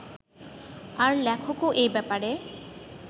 আর লেখকও এই ব্যাপারে